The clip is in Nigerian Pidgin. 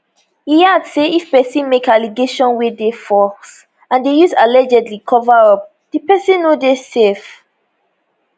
e add say if pesin make allegation wey dey false and dey use allegedly cover up di pesin no dey safe